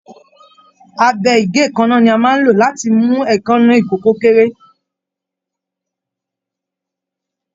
Abẹ igèékánná ní a máa n ló láti mú èékánná ikòkò kéré.